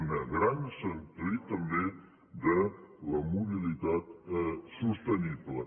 un gran sentit també de la mobilitat sostenible